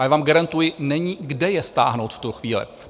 A já vám garantuji, není kde je stáhnout v tuto chvíli.